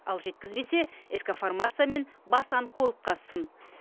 ал жеткізбесе ск фармация мен бас онкологқа сын